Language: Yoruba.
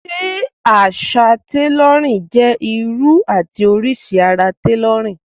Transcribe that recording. Ṣé àṣà tailorin jẹ́ irú ti oríṣi ara tailorin?